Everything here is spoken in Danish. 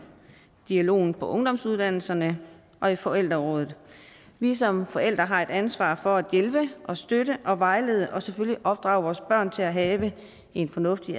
dialogen på ungdomsuddannelserne og i forældreråd vi som forældre har et ansvar for at hjælpe og støtte og vejlede og selvfølgelig opdrage vores børn til at have en fornuftig